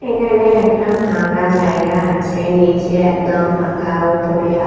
এখানে একটা ফাঁকা জায়গা আছে নিচে একদম ফাঁকা উপরে--